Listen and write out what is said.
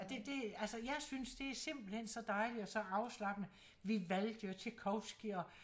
Det det altså jeg synes det simpelthen så dejligt og så afslappende Vivaldi og Tjajkovskij og